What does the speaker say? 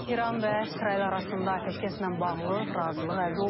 İran və İsrail arasında atəşkəslə bağlı razılıq əldə olunub.